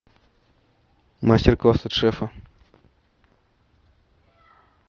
мастер класс от шефа